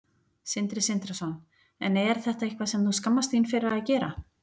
Sindri Sindrason: En er þetta eitthvað sem þú skammast þín fyrir að gera?